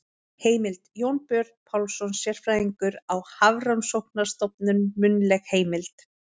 Heimild: Jónbjörn Pálsson, sérfræðingur á Hafrannsóknarstofnun- munnleg heimild.